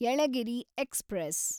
Yelagiri express